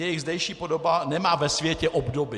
Jejich zdejší podoba nemá ve světě obdoby.